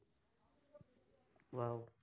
ৱাহ